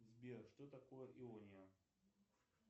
сбер что такое иония